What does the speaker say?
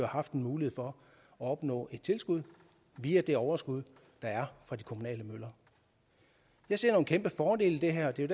haft en mulighed for at opnå et tilskud via det overskud der er fra de kommunale møller jeg ser nogle kæmpe fordele i det her det er